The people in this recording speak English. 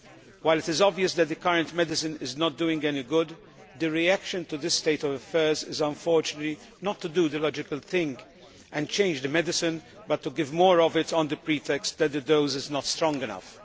While it is obvious that the current medicine is not doing any good, the reaction to this state of affairs is unfortunately not to do the logical thing and change the medicine, but to give more of it on the pretext that the dose is not strong enough.